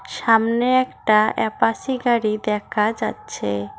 সামনে একটা অ্যাপাসি গাড়ি দেখা যাচ্ছে।